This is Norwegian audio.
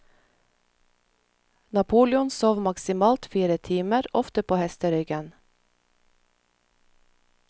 Napoleon sov maksimalt fire timer, ofte på hesteryggen.